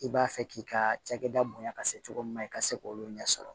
I b'a fɛ k'i ka cakɛda bonya ka se cogo min na i ka se k' olu ɲɛ sɔrɔ